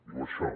diu això